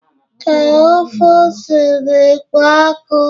ee, ofe ose na-ekpo ọkụ?